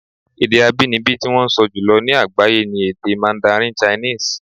Èdè abínibí tí wọ́n ń sọ jùlọ ní àgbáyé ni èdè mandarin chinese.